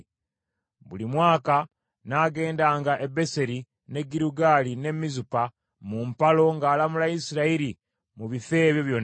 Buli mwaka n’agendanga e Beseri, n’e Girugaali n’e Mizupa mu mpalo ng’alamula Isirayiri mu bifo ebyo byonna.